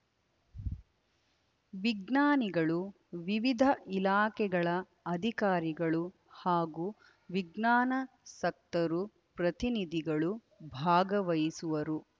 ವಿಜ್ಞಾನಿಗಳು ವಿವಿಧ ಇಲಾಖೆಗಳ ಅಧಿಕಾರಿಗಳು ಹಾಗೂ ವಿಜ್ಞಾನಾಸಕ್ತರು ಪ್ರತಿನಿಧಿಗಳು ಭಾಗವಹಿಸುವರು